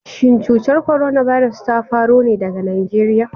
Shin cutar korona birus ta faro ne daga Najeriya?